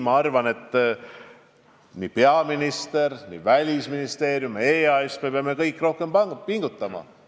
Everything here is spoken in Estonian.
Ma arvan, et nii peaminister, nii Välisministeerium kui ka EAS – me peame kõik rohkem pingutama.